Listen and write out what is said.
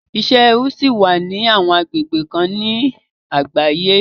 Isẹ ẹrú ṣì wà ní àwọn agbegbe kan lágbàáyé